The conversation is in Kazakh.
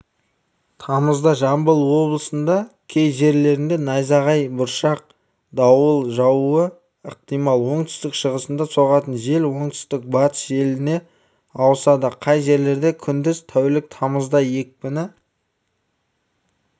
тамызда жамбыл облысындакей жерлерде найзағай бұршақ дауыл жаууы ықтимал оңтүстік-шығыстан соғатын жел оңтүстік-батыс желіне ауысады кей жерлерде күндіз тәулік тамызда екпіні